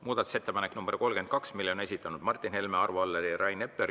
Muudatusettepaneku nr 32 on esitanud Martin Helme, Arvo Aller ja Rain Epler.